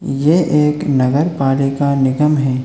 ये एक नगर पालिका निगम है।